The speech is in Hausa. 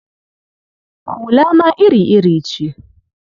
Hula ma iri-iri ce.